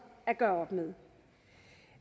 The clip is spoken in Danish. at gøre med